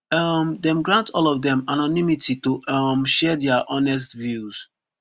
um dem grant all of dem anonymity to um share dia honest views